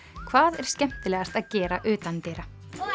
hvað er skemmtilegast að gera utandyra